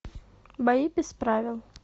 бои без правил